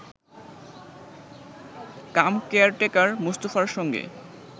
কাম caretaker মোস্তফার সঙ্গে